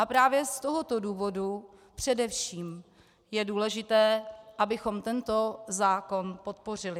A právě z tohoto důvodu především je důležité, abychom tento zákon podpořili.